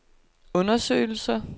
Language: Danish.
undersøgelser